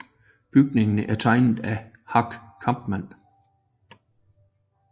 Bygningen er tegnet af Hack Kampmann